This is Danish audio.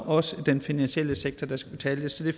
også den finansielle sektor der skal betale det så det